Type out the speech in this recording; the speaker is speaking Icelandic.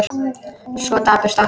Svo dapurt allt.